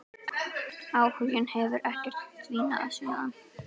Áhuginn hefur ekkert dvínað síðan.